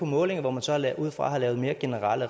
målinger og